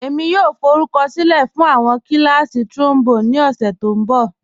Ẹ̀mi yòò fọrùkọ̀sílẹ̀ fún awọn kílàsí̀ trombone ni ọṣẹ̀ tó nbọ̀.